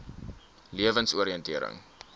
lewensoriëntering